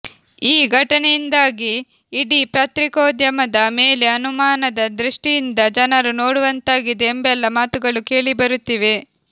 ಈ ಘಟನೆಯಿಂದಾಗಿ ಇಡೀ ಪತ್ರಿಕೋದ್ಯಮದ ಮೇಲೆ ಅನುಮಾನದ ದೃಷ್ಟಿಯಿಂದ ಜನರು ನೋಡುವಂತಾಗಿದೆ ಎಂಬೆಲ್ಲ ಮಾತುಗಳು ಕೇಳಿಬರುತ್ತಿವೆ